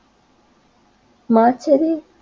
মারচারের